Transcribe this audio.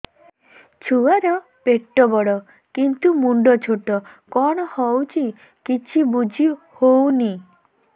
ଛୁଆର ପେଟବଡ଼ କିନ୍ତୁ ମୁଣ୍ଡ ଛୋଟ କଣ ହଉଚି କିଛି ଵୁଝିହୋଉନି